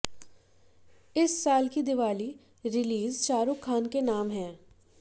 इस साल की दीवाली रिलीज शाहरुख खान के नाम है